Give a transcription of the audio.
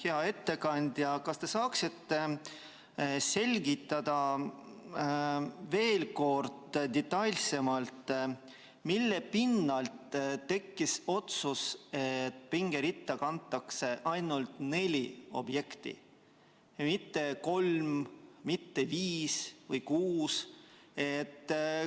Hea ettekandja, kas te saaksite veel kord detailsemalt selgitada, mille pinnalt tekkis otsus, et pingeritta kantakse ainult neli objekti, mitte kolm, viis või kuus?